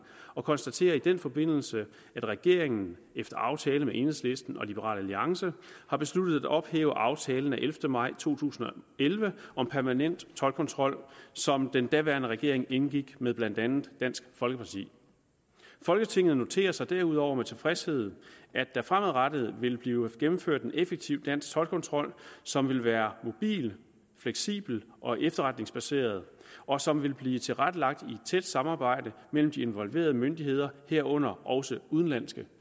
og konstaterer i den forbindelse at regeringen efter aftale med enhedslisten og liberal alliance har besluttet at ophæve aftalen af ellevte maj to tusind og elleve om permanent toldkontrol som den daværende regering indgik med blandt andet dansk folkeparti folketinget noterer sig derudover med tilfredshed at der fremadrettet vil blive gennemført en effektiv dansk toldkontrol som vil være mobil fleksibel og efterretningsbaseret og som vil blive tilrettelagt i et tæt samarbejde mellem de involverede myndigheder herunder også udenlandske